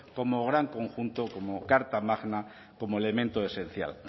como gran conjunto como carta magna como elemento esencial